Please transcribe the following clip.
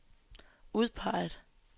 udpeget